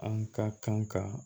An ka kan ka